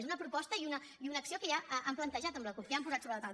és una proposta i una acció que ja han plantejat amb la cup que ja han posat sobre la taula